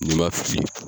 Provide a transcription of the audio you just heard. N'i ma fili